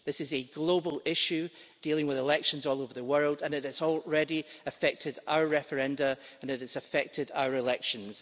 This is a global issue dealing with elections all over the world and it has already affected our referenda and it has affected our elections.